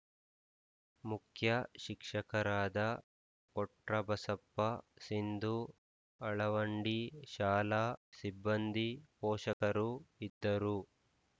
ಮುಖ್ಯ ಶಿಕ್ಷಕರಾದ ಕೊಟ್ರಬಸಪ್ಪ ಸಿಂಧು ಅಳವಂಡಿ ಶಾಲಾ ಸಿಬ್ಬಂದಿ ಪೋಷಕರು ಇದ್ದರು